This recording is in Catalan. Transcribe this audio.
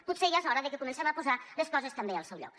potser ja és hora de que comencem a posar les coses també al seu lloc